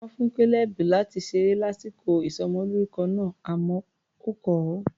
Wọ́n fún Caleb láti ṣeré lásìkò ìsọmọlórúkọ náà, àmọ́ ó kọ̀ ọ́.